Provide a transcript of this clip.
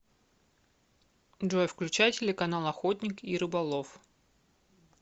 джой включай телеканал охотник и рыболов